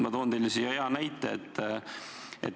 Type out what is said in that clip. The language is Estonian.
Ma toon hea näite.